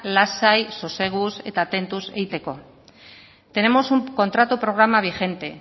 lasai soseguz eta tentuz egiteko tenemos un contrato programa vigente